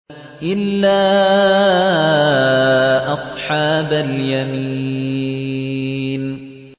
إِلَّا أَصْحَابَ الْيَمِينِ